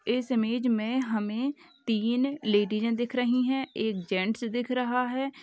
इस इमेज में हमें तीन लेडिजें दिख रही हैं एक जेंट्स दिख रहा है।